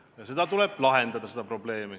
Ja see probleem tuleb lahendada.